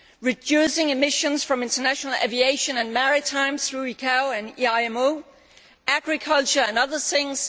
reducing emissions from international aviation and maritime through ICAO and EIMO, agriculture and other things.